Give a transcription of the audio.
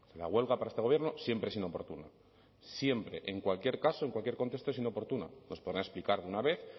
la huelga para este gobierno siempre es inoportuna siempre en cualquier caso en cualquier contexto es inoportuna nos podrán explicar de una vez